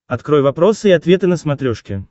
открой вопросы и ответы на смотрешке